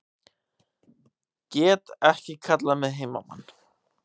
Get ekki kallað mig heimamann